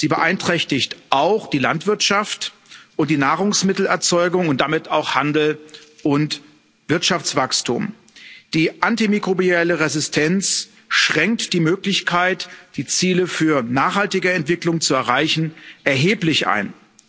Sie beeinträchtigt auch die Landwirtschaft und die Nahrungsmittelerzeugung und damit auch Handel und Wirtschaftswachstum. Die antimikrobielle Resistenz schränkt die Möglichkeit, die Ziele für nachhaltige Entwicklung zu erreichen, erheblich ein.